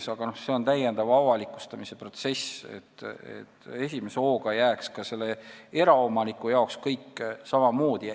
See tähendab küll täiendavat avalikustamise protsessi, kuid esimese hooga jääks kõik ka eraomaniku jaoks samamoodi.